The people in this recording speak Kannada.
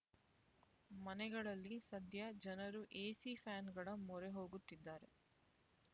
ಮನೆಗಳಲ್ಲಿ ಸದ್ಯ ಜನರು ಎಸಿ ಫ್ಯಾನ್‍ಗಳ ಮೊರೆ ಹೋಗುತ್ತಿದ್ದಾರೆ